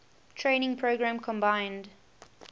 training program combined